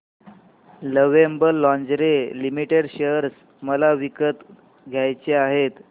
lovable lingerie limited share मला विकत घ्यायचे आहेत